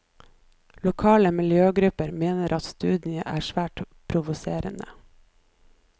Lokale miljøgrupper mener at studien er svært provoserende.